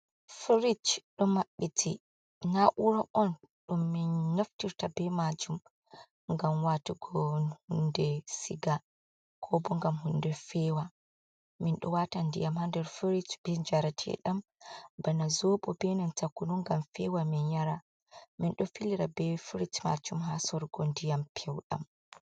Firich đo ma66iti, naa'uura on đum min naftirta beh maajum ngam waatugo hunde siga koko ngam hunde feewa, min đo waata ndiyam ha nder Firich beh njareteeđam bana zoobo be nanta kunu ngam feewa min yara, minđo filira beh Firich ngam sorugo ndiyam peuđam.